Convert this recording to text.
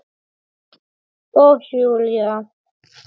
Og Júlía